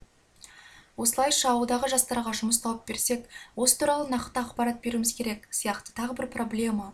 осылайша ауылдағы жастарға жұмыс тауып берсек осы туралы нақты ақпарат беруіміз керек сияқты тағы бір проблема